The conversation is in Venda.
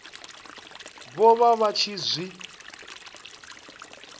vho vha vha tshi zwi